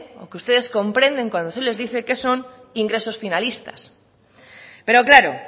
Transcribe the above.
que ustedes comprenden cuando se les dice que son ingresos finalistas pero claro